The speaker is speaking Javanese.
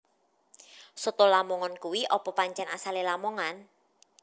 Soto lamongan kui opo pancen asale Lamongan